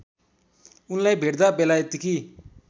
उनलाई भेट्दा बेलायतकी